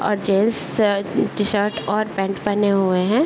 और जेंट्स स टीशर्ट और पैंट पेहेने हुए हैं।